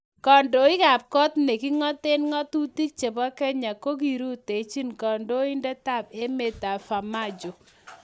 Kandoikab kot ne king'oten ng'atutik chebo Kenya kokirutechi kondoindetab emet Farmajo